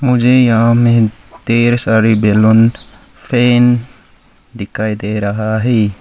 मुझे यहां में ढेर सारे बैलून फैन दिखाई दे रहा है।